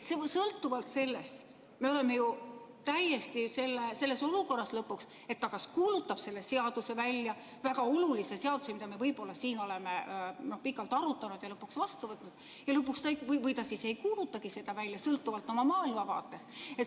Sõltuvalt sellest me oleme ju selles olukorras lõpuks, et ta kas kuulutab selle seaduse välja, väga olulise seaduse, mida me siin oleme pikalt arutanud ja mille lõpuks vastu võtnud, või ta siis ei kuuluta seda välja, sõltuvalt oma maailmavaatest.